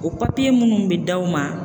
O papiye minnu bɛ d'aw ma